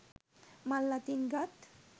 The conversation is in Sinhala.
මල් අතින් ගත්